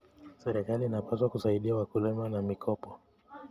Serikali inapaswa kusaidia wakulima na mikopo.